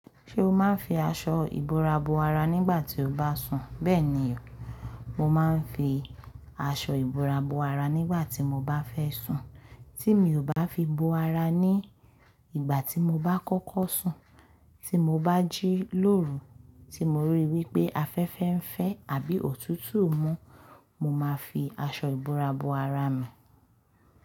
Ṣé o máa ń fi aṣọ ìbora bo ara nígbà tí o bá sùn? Bẹ́ẹ̀ni o, mo máa ń fi aṣọ ìbora bo ara nígbà tí mo bá fẹ́ sùn. Tí mi ò bá fi bo ara ní ìgbà tí mo bá kọ́kọ́ sùn, tí mo bá jí lóru, tí mo ríi wí pé afẹ́fẹ́ ń fẹ́ àbí òtútù mú, mo máa fi aṣọ ìbora bo ara mi.